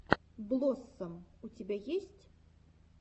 блоссом у тебя есть